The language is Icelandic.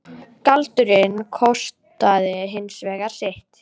Galdurinn kostaði hins vegar sitt.